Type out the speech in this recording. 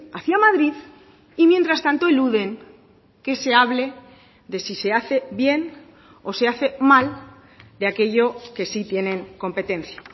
hacia madrid y mientras tanto eluden que se hable de si se hace bien o se hace mal de aquello que sí tienen competencia